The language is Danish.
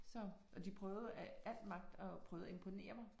Så og de prøve af alt magt og prøve at imponere mig